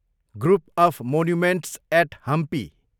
group of monuments at Hampi